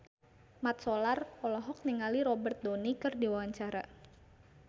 Mat Solar olohok ningali Robert Downey keur diwawancara